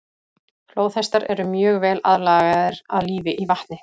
Flóðhestar eru mjög vel aðlagaðir að lífi í vatni.